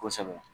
Kosɛbɛ